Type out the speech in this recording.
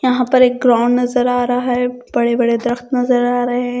यहां पर एक ग्राउंड नजर आ रहा है बड़े-बड़े दरख्त नजर आ रहे हैं।